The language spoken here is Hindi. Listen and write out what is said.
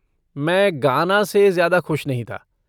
मैं गाना से ज़्यादा खुश नहीं था।